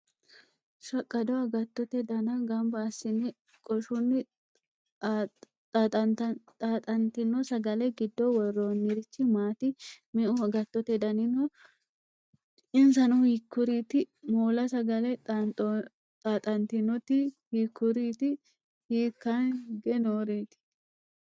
Shaqqado agatottote dana gamba assinenna qoshunni xaaxantino sagale giddo worroonirichi maati? Meu agattote dani no? Insano hiikkuriiti? Moola sagale xaaxantinoti hiikkuriiti? hikkaanni higge nooreeti?